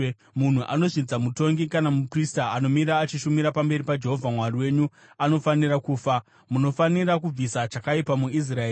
Munhu anozvidza mutongi kana muprista anomira achishumira pamberi paJehovha Mwari wenyu anofanira kufa. Munofanira kubvisa chakaipa muIsraeri.